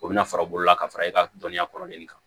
O bɛna fara olu la ka fara i ka dɔnniya kɔrɔlen kan